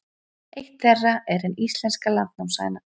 Eitt þeirra er hin íslenska landnámshæna.